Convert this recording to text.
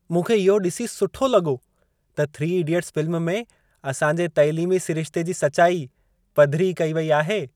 मूंखे इहो ॾिसी सुठो लॻो त "3 इडियट्स" फ़िल्म में असांजे तैलीमी सिरिश्ते जी सचाई पधिरी कई वेई आहे।